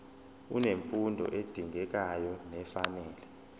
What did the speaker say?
unemfundo edingekayo nefanele